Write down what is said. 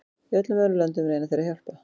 Í öllum öðrum löndum reyna þeir að hjálpa.